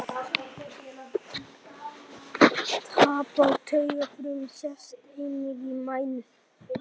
Tap á taugafrumum sést einnig í mænu.